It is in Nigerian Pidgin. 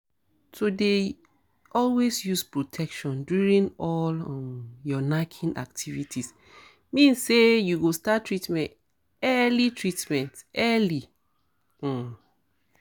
to dey always use protection during all um your knacking activities means say you go start treatment early treatment early um